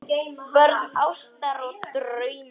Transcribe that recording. Börn ástar og drauma